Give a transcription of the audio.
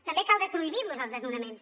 també caldrà prohibir los els desnonaments